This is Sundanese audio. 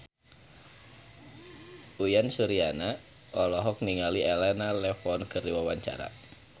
Uyan Suryana olohok ningali Elena Levon keur diwawancara